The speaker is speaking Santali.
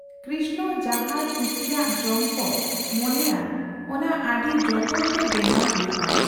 ᱠᱨᱤᱥᱱᱚ ᱡᱟᱸᱦᱟᱭ ᱠᱩᱥᱤᱭᱟᱜ ᱡᱚᱢ ᱠᱚ ᱢᱚᱱᱮᱭᱟᱱ ᱚᱱᱟ ᱟᱹᱰᱤ ᱡᱚᱛᱚᱱ ᱛᱮ ᱵᱮᱱᱟᱣ ᱦᱳᱭᱚᱜᱼᱟ ᱾